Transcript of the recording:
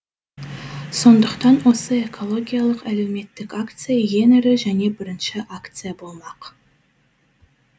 сондықтан осы экологиялық әлеуметтік акция ең ірі және бірінші акция болмақ